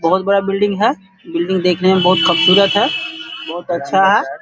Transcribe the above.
बहुत बड़ा बिल्डिंग है बिल्डिंग देखने में बहुत खुबसूरत है बहुत अच्छा है।